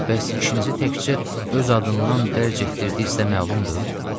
Bəs işinizi təkcə öz adından dərc etdirdiyi isə məlumdur?